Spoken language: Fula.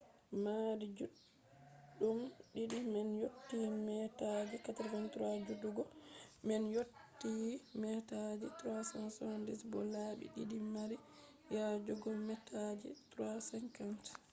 maadi juɗɗum ɗiɗi man yotti meetaji 83 jutugo man yotti meetaji 378 bo labbi ɗiɗi mari yajugo meetaji 3.50